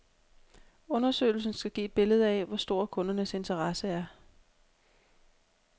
Undersøgelsen skal give et billede af, hvor stor kundernes interesse er.